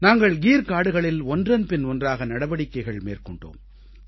நாங்கள் கீர் காடுகளில் ஒன்றன்பின் ஒன்றாக நடவடிக்கைகள் மேற்கொண்டோம்